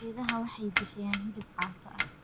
Idaha waxay bixiyaan hilib caato ah.